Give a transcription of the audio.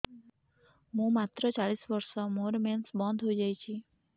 ମୁଁ ମାତ୍ର ଚାଳିଶ ବର୍ଷ ମୋର ମେନ୍ସ ବନ୍ଦ ହେଇଯାଇଛି